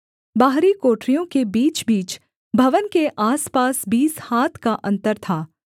बाहरी कोठरियों के बीचबीच भवन के आसपास बीस हाथ का अन्तर था